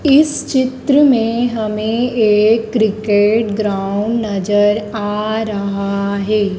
इस चित्र में हमें एक क्रिकेट ग्राउंड नजर आ रहा है।